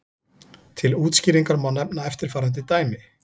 Til útskýringar má nefna eftirfarandi dæmi.